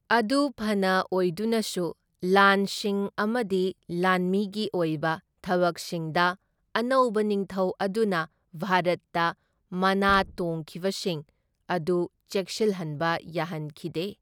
ꯑꯗꯨ ꯐꯅ ꯑꯣꯏꯗꯨꯅꯁꯨ ꯂꯥꯟꯁꯤꯡ ꯑꯃꯗꯤ ꯂꯥꯟꯃꯤꯒꯤ ꯑꯣꯏꯕ ꯊꯕꯛꯁꯤꯡꯗ, ꯑꯅꯧꯕ ꯅꯤꯡꯊꯧ ꯑꯗꯨꯅ ꯚꯥꯔꯠꯇ ꯃꯥꯅꯥ ꯇꯣꯡꯈꯤꯕꯁꯤꯡ ꯑꯗꯨ ꯆꯦꯠꯁꯤꯜꯍꯟꯕ ꯌꯥꯍꯟꯈꯤꯗꯦ꯫